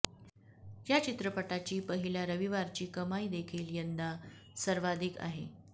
या चित्रपटाची पहिल्या रविवारची कमाई देखील यंदा सर्वाधिक आहे